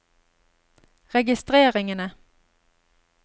registreringene